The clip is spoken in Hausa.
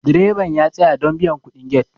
direban ya tsaya don biyan kudin get